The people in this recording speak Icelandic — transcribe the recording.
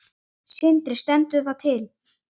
Sindri: Stendur það til?